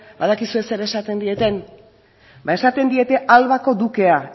badakizue zer esaten dieten ba esaten diete albako dukea